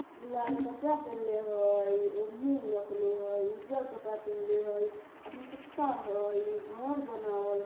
लाल कपड़ा पहलने हई उन्ही रखले हई उजरकपड़ा पेहलने हई हई घर बनाव --